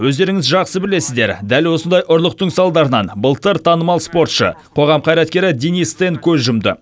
өздеріңіз жақсы білесіздер дәл осындай ұрлықтың салдарынан былтыр танымал спортшы қоғам қайраткері денис тен көз жұмды